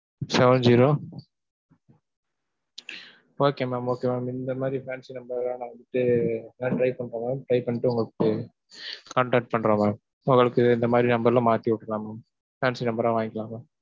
Seven-zero okay mam okay mam. இந்த மாதிரி fancy number நான் வந்துட்டு, நான் try பண்றேன் mam, try பண்ணிட்டு உங்களுக்கு contact பண்றேன் mam. உங்களுக்கு இந்த மாதிரி number ல மாத்தி விட்டிருலாம் mam fancy number ஆ வாங்கிக்கலாம் mam.